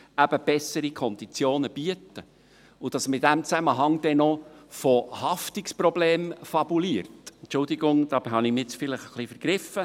Und dass man in diesem Zusammenhang dann noch von Haftungsproblemen fabuliert … Entschuldigung, hier habe ich mich nun vielleicht ein wenig vergriffen.